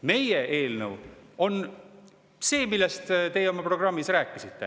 Meie eelnõu on see, millest te oma programmis rääkisite.